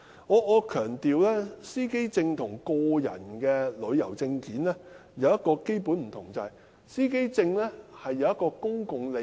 我要強調，司機證與個人旅遊證件有一個基本差異，就是司機證牽涉公共利益。